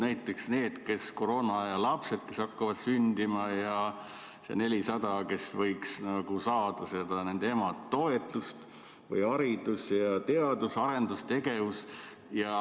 Näiteks need koroonaaja lapsed, kes hakkavad sündima, ja need 400, kes võiks saada seda emade toetust, või haridus ning teadus- ja arendustegevus.